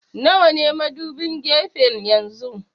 Nawa ne madubin gefen yanzu?